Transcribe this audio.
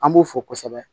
An b'u fo kosɛbɛ